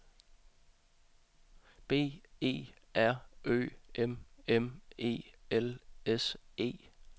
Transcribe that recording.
B E R Ø M M E L S E